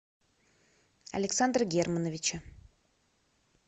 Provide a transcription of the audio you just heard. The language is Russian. александра германовича